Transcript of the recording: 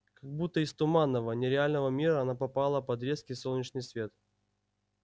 как будто из туманного нереального мира она попала под резкий солнечный свет